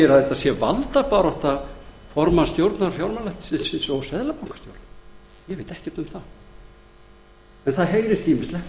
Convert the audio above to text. þetta sé valdabarátta formanns stjórnar fjármálaeftirlitsins og seðlabankastjóra ég veit ekkert um það en það heyrist ýmislegt